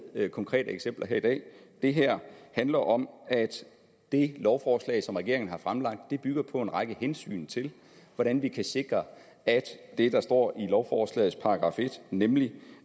med konkrete eksempler her i dag det her handler om at det lovforslag som regeringen har fremsat bygger på en række hensyn til hvordan vi kan sikre at det der står i lovforslagets § en nemlig